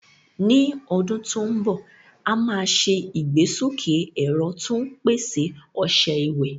Ní ọdún tó ń bọ̀, a máa ṣe ìgbésókè ẹ̀rọ tó ń pèsè ọṣẹ ìwẹ̀.